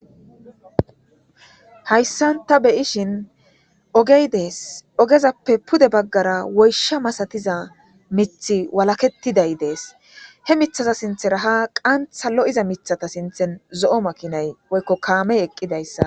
hayssan ta beyishin ogey dees ogezappe pude baggara woysha masatiza mith walakettiday dees he mithaza sinthe raha qantha lo7iza mithata sinthen zo7o makinay woykko kaame eqqidayssa